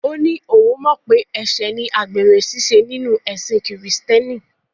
Ó ní òun mọ̀ pé ẹ̀ṣẹ̀ ni àgbèrè ṣíṣe nínú ẹ̀sin Kìrìtẹ̀ẹ́nì.